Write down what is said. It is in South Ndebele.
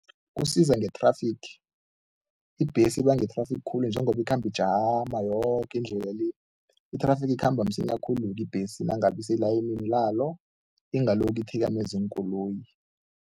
Kusiza nge-traffick. Ibhesi ibanga i-traffic khulu njengoba ikhamba ijama yoke indlela le, i-traffic ikhamba msinya khulu-ke ibhesi nangabe iselayinini lalo, ingalokhu ithikameza iinkoloyi.